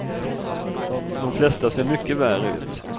De flesta ser mycket värre ut.